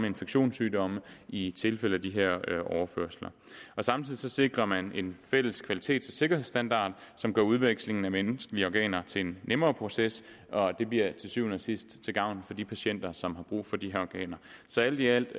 infektionssygdomme i tilfælde af de her overførsler samtidig sikrer man en fælles kvalitets og sikkerhedsstandard som gør udvekslingen af menneskelige organer til en nemmere proces og det bliver til syvende og sidst til gavn for de patienter som har brug for de her organer så alt i alt